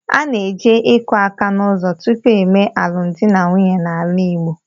A na-eje akụ aka n'ụzọ tupu e mee alụmdi na nwunye n'ala Igbo.